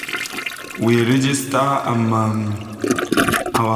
we register um our farm first befor we buy um new animal so dat we go qualify for government support